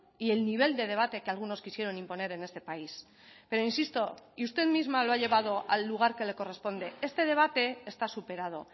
y el nivel de debate que algunos quisieron imponer en este país pero insisto y usted misma lo ha llevado al lugar que le corresponde este debate está superado